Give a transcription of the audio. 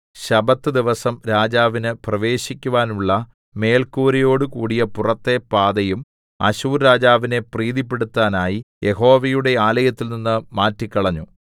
ശബ്ബത്ത് ദിവസം രാജാവിന് പ്രവേശിക്കുവാനുള്ള മേൽക്കൂരയോടുകൂടിയ പുറത്തെ പാതയും അശ്ശൂർ രാജാവിനെ പ്രീതിപ്പെടുത്താനായി യഹോവയുടെ ആലയത്തിൽനിന്ന് മാറ്റിക്കളഞ്ഞു